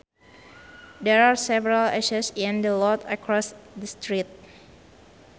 There are several ashes in the lot across the street